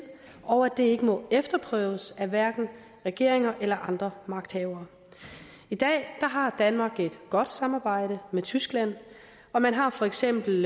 og at det ikke må efterprøves af hverken regeringer eller andre magthavere i dag har danmark et godt samarbejde med tyskland og man har for eksempel